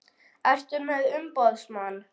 Ertu með umboðsmann?